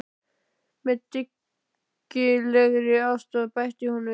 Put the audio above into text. Með dyggilegri aðstoð, bætti hún við.